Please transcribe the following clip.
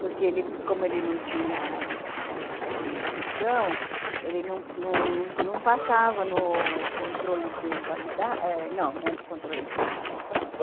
Porque ele, como ele não tinha, assim, instrução, ele não não não não passava no controle de qualida, não, não é de controle de quali, como é que fala?